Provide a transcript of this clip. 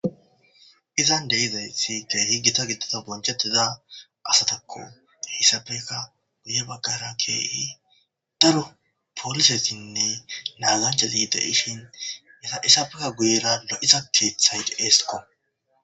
Izan deizaysi dehigita gittida bonchettiza asatakko hissafeka guye baggara keei daro poolisesinne naazanchali de ishin eta issafeka guyera lo7iza keeththay de'esko.